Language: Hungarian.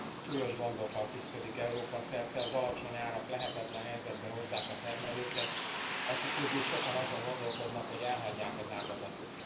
súlyos gondokkal küszködik Európa szerte, az alacsony árak lehetetlen helyzetbe hozzák a termelőket, akik közül sokan azon gondolkodnak, hogy elhagyják az ágazatot.